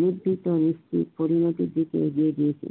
মধ্যে পরিণতির দিকে এগিয়ে দিয়েছে